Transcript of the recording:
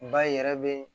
Ba yɛrɛ be yen